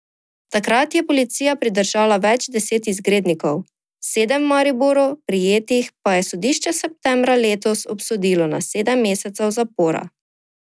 Takrat je policija pridržala več deset izgrednikov, sedem v Mariboru prijetih pa je sodišče septembra letos obsodilo na sedem mesecev zapora.